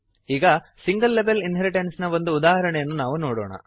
ಈಗ single level ಇನ್ಹೆರಿಟೆನ್ಸ್ನ ಒಂದು ಉದಾಹರಣೆಯನ್ನು ನಾವು ನೋಡೋಣ